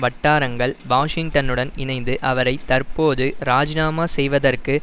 வட்டாரங்கள் வாஷிங்டனுடன் இணைந்து அவரை தற்போது ராஜினாமாச் செய்வதற்கு